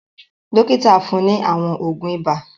Dọ́kítá fún ní àwọn òògùn ibà.